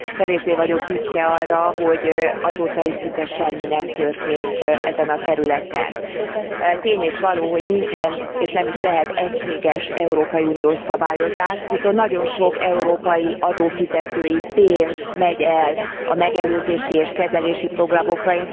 Kevésbé vagyok büszke arra, hogy azóta is szinte semmi nem történt ezen a területen. Tény és való, hogy nincsen és nem is lehet egységes európai uniós szabályozás, viszont nagyon sok európai adófizetői pénz megy el a megelőzési és kezelési programokra.